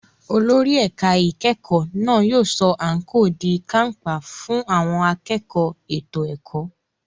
Olórí ẹ̀ka ìkẹ́kọ̀ọ́ náà yóò sọ àǹkóò di kàńpá fún àwọn akẹ́kọ̀ọ́ ètò ẹ̀kọ́.